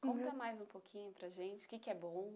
Conta mais um pouquinho para a gente, o que é bom?